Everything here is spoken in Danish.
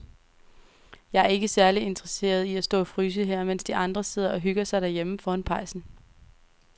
Jeg er ikke særlig interesseret i at stå og fryse her, mens de andre sidder og hygger sig derhjemme foran pejsen.